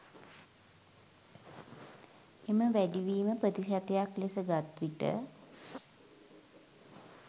එම වැඩිවීම ප්‍රතිශතයක් ලෙස ගත් විට